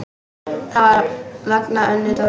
Það var vegna Önnu Dóru.